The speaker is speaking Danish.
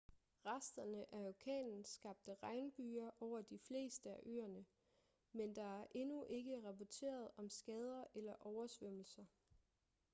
resterne af orkanen skabte regnbyger over de fleste af øerne men der er endnu ikke rapporteret om skader eller oversvømmelser